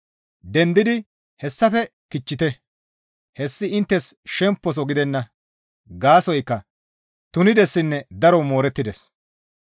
Dendidi hessafe kichchite; hessi inttes shempposo gidenna; gaasoykka tunidessinne daro moorettides.